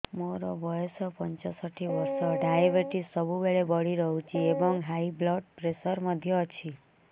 ମୋର ବୟସ ପଞ୍ଚଷଠି ବର୍ଷ ଡାଏବେଟିସ ସବୁବେଳେ ବଢି ରହୁଛି ଏବଂ ହାଇ ବ୍ଲଡ଼ ପ୍ରେସର ମଧ୍ୟ ଅଛି